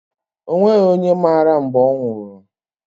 O nweghị onye mara mgbe ọ nwụrụ.